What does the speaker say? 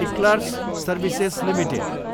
eClerx services Ltd